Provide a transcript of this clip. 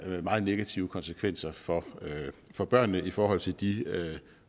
meget negative konsekvenser for for børnene i forhold til de